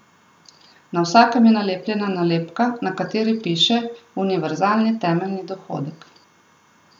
Na vsakem je nalepljena nalepka, na kateri piše Univerzalni temeljni dohodek.